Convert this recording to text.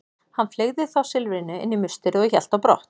Hann fleygði þá silfrinu inn í musterið og hélt brott.